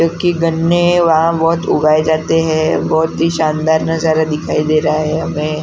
क्योंकि गन्ने वहां बहुत उगाए जाते हैं बहुत ही शानदार नजारा दिखाई दे रहा है हमें।